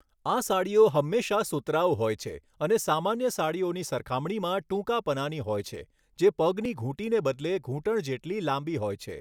આ સાડીઓ હંમેશાં સુતરાઉ હોય છે અને સામાન્ય સાડીઓની સરખામણીમાં ટૂંકા પનાની હોય છે, જે પગની ઘૂંટીને બદલે ઘૂંટણ જેટલી લાંબી હોય છે.